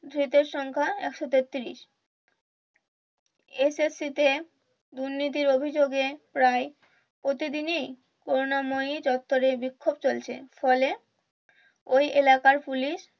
ধৃতের সংখ্যা একশো তেতত্রিশ SSC তে দুর্নীতির অভিযোগে প্রায় প্রতিদিন ই করুণাময়ী চত্তরে বিক্ষোপ চলছে ফলে ওই এলাকার পুলিশ